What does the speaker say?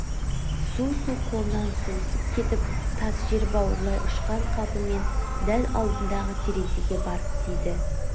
су-су қолынан сусып кетіп тас жер бауырлай ұшқан қалпымен дәл алдындағы терезеге барып тиді